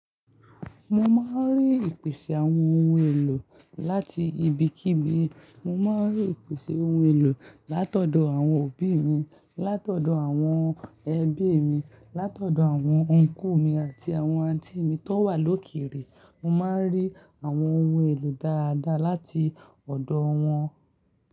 Mo máa ń rí ìpèsè àwọn ohun èlò láti ibikíbi, mo máa ń rí ìpèsè ohun èlò látọ̀dọ̀ àwọn òbí mi, látọ̀dọ̀ àwọn ẹbí mi, látọ̀dọ̀ àwọn Ọnkú mi àti àwọn Àǹtí mi tó wà lókere, mo máa ń rí àwọn ohun èlò dáadáa láti ọ̀dọ̀ wọn.